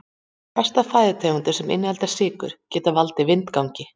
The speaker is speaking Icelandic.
flestar fæðutegundir sem innihalda sykrur geta valdið vindgangi